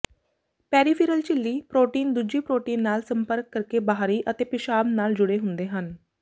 peripheral ਝਿੱਲੀ protein ਦੂਜੀ protein ਨਾਲ ਸੰਪਰਕ ਕਰਕੇ ਬਾਹਰੀ ਅਤੇ ਪਿਸ਼ਾਬ ਨਾਲ ਜੁੜੇ ਹੁੰਦੇ ਹਨ